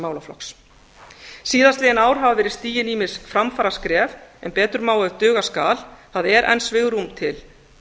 málaflokks síðastliðið ár hafa verið stigin ýmis framfaraskref en betur má ef duga skal það er enn svigrúm til